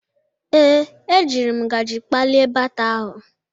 Ee, ejiri m ngaji kpalie baata ahụ.